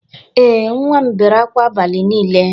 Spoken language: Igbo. Ee, nwa m bere akwa abali niile